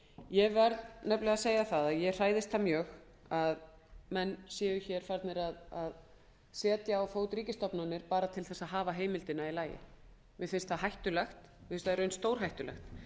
ég verð nefnilega að segja það að ég hræðist það mjög að menn séu hér farnir að setja á fót ríkisstofnanir bara til þess að hafa heimildina í lagi mér finnst það hættulegt mér finnst það í raun stórhættulegt